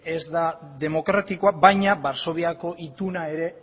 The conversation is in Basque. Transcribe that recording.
ez da demokratikoa baina varsoviako ituna ere